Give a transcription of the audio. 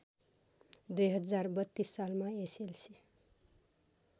२०३२ सालमा एसएलसी